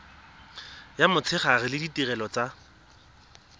ya motshegare le ditirelo tsa